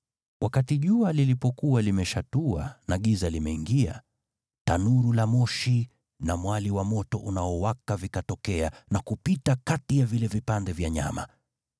Wakati jua lilipokuwa limezama na giza limeingia, tanuru la moshi na mwali wa moto unaowaka vikatokea na kupita kati ya vile vipande vya nyama.